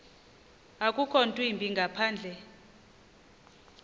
akukho ntwimbi ngaphandle